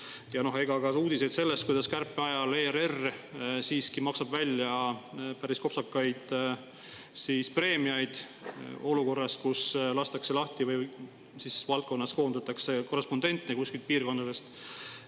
Ja on ka uudised sellest, kuidas kärpe ajal ERR siiski maksab välja päris kopsakaid preemiaid olukorras, kus lastakse lahti või valdkonnas koondatakse korrespondente kuskilt piirkondadest.